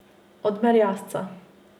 Od merjasca.